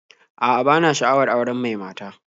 A'a, bana sha'awar auren mai mata